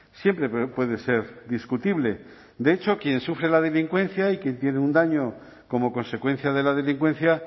siempre puede ser discutible de hecho quien sufre la delincuencia y quien tiene un daño como consecuencia de la delincuencia